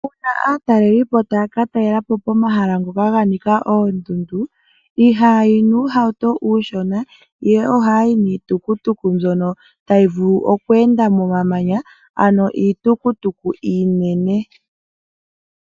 Uuna aatalelipo taya ka talela po pomahala ngoka ga nika oondundu ihaya yi nuuhauto uushona, ihe ohaya yi niitukutuku tayi vulu okweenda momamanya, ano iitukutuku iinene.